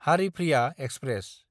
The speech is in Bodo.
हारिफ्रिया एक्सप्रेस